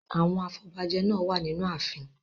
Àwọn afobajẹ náà wà nínú ààfin.